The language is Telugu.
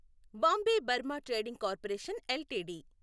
Bombay Burma trading corporation LTD